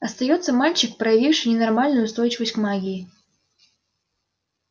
остаётся мальчик проявивший ненормальную устойчивость к магии